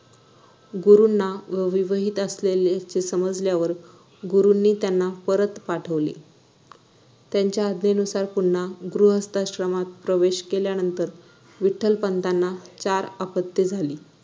गुरूंना ते विवाहित असल्याचे समजल्यावर गुरूंनी त्यांना परत पाठवले त्यांच्या आज्ञानुसार पुन्हा गृहथाश्रमात प्रवेश केल्यानंतर विठ्ठलपंतांना चार अपत्ये झाली